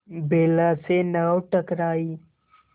बेला से नाव टकराई